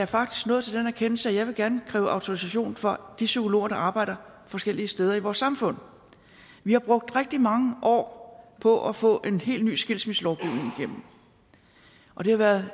faktisk nået til den erkendelse at jeg gerne vil kræve autorisation for de psykologer der arbejder forskellige steder i vores samfund vi har brugt rigtig mange år på at få en helt ny skilsmisselovgivning igennem og det har været